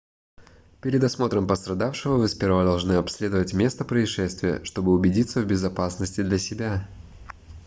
перед осмотром пострадавшего вы сперва должны обследовать место происшествия чтобы убедиться в безопасности для себя